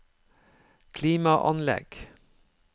klimaanlegg